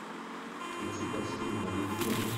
включи прости меня любимая